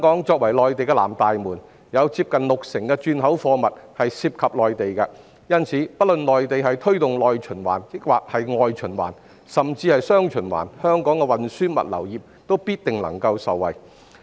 作為內地的南大門，香港近六成轉口貨物涉及內地，所以不論內地推動內循環還是外循環，甚至是"雙循環"，香港的運輸物流業必定能夠受惠。